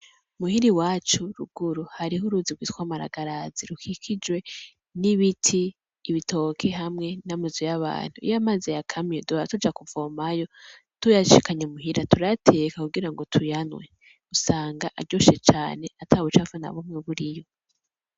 Muhira iwacu ruguru hariho uruzi gwitwa Maragarazi rukikijwe n'ibiti, ibitoke, hamwe n’amazu y'abantu, iyo amazi yakamye duhora tuja kuvomayo tuyashikanye muhira turayateka kugirango tuyanywe, usanga aryoshe cane atabucafu nabumwe buriyo.